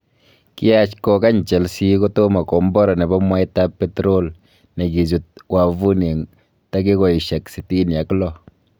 Kiyaach kogany Chelsea kotomo kombora nebo mwaitab petrol negichut wavuni en tagigosiek sitini ak loo.